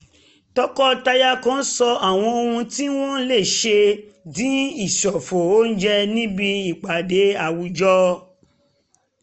tọkọtaya kan sọ àwọn ohun tí wọ́n lè ṣe dìn ìṣòfò oúnjẹ níbi ìpàdé àwùjọ